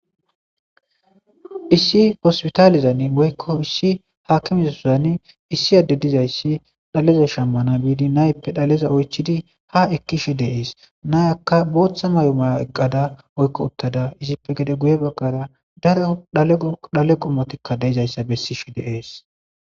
issi hospitaalizan woykko issi haakimiza sosani issi adde dizayssi dhaleza shammana biidi nayppe dhaleza oychidi ha ekkishe deees nayakka booththa may7o maya eqqada oykko uttada izippe gede guye baggara daro dhale qommotikka deizayssa bessishe deees